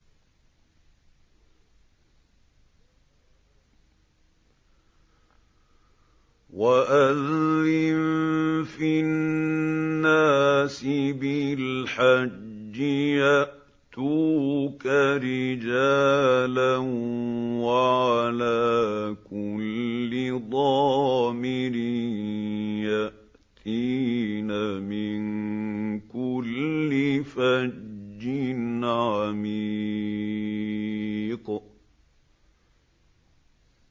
وَأَذِّن فِي النَّاسِ بِالْحَجِّ يَأْتُوكَ رِجَالًا وَعَلَىٰ كُلِّ ضَامِرٍ يَأْتِينَ مِن كُلِّ فَجٍّ عَمِيقٍ